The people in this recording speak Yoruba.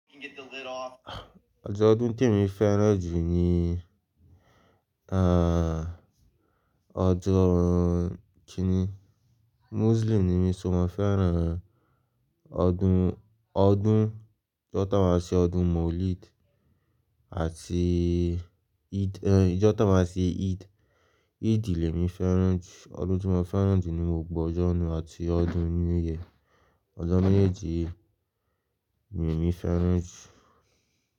Ọjọ́ ọdún tí mo fẹ́ràn jù ní, ah ọjọ́ kíni? Muslim ni mí so mo fẹ́ràn ọdún, ọdún, ọjọ́ tó máa ṣe ọdún Maulid àti Eid, ẹ, ọjọ́ tó máa ṣe Eid, Eid ìlẹ̀ mi fẹ́ràn jù. Ọdún tí mo fẹ́ràn jù ni mo gbọ́ ọjọ́ ọ̀na àti ọdún new year. Ọjọ́ meejeji yii ni emí fẹ́ràn jù.